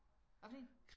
Hvad for en?